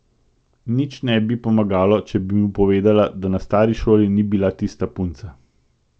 Nič ne bi pomagalo, če bi mu povedala, da na stari šoli ni bila tista punca.